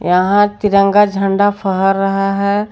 यहां तिरंगा झंडा फहर रहा है।